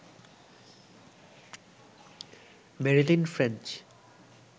Marilyn French